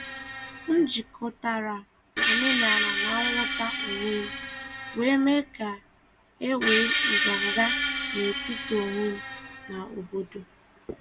M jikọtara omenala na nghọta onwe m, wee mee ka e nwee nganga n’etiti onwe m na obodo.